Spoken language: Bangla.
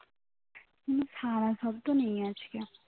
কোনো সারা শব্ধ নেই আজকে